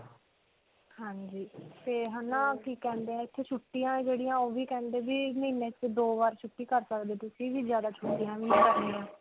ਹਾਂਜੀ. ਤੇ ਹੈ ਨਾ ਕਿ ਕਹਿੰਦੇ ਹੈ, ਇੱਥੇ ਛੁੱਟੀਆਂ ਜਿਹੜੀਆਂ ਓਹ ਵੀ ਕਹਿੰਦੇ ਹੈ ਵੀ ਮਹੀਨੇ 'ਚ ਦੋ ਬਾਰ ਛੁੱਟੀ ਕਰ ਸਕਦੇ ਹੋ ਤੁਸੀਂ ਜਿਆਦਾ ਛੁੱਟੀਆਂ ਨਹੀਂ ਕਰਨੀਆਂ.